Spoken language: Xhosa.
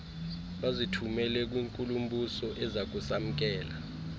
bazithumela kwinkulu mbusoezakusamkela